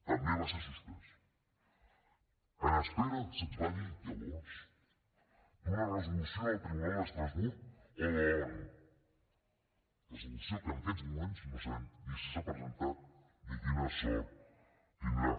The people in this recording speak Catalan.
també va ser suspès en espera se’ns va dir llavors d’una resolució del tribunal d’estrasburg o de l’onu resolució que en aquests moments no sabem ni si s’ha presentat ni quina sort tindrà